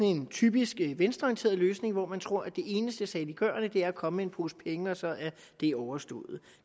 en typisk venstreorienteret løsning hvor man tror at det eneste saliggørende er at komme med en pose penge og så er det overstået